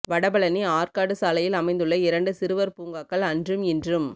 வடபழனி ஆற்காடு சாலையில் அமைந்துள்ள இரண்டு சிறுவர் பூங்காக்கள் அன்றும் இன்றும்